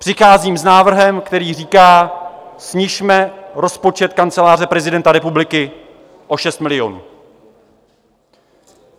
Přicházím s návrhem, který říká: snižme rozpočet Kanceláře prezidenta republiky o 6 milionů.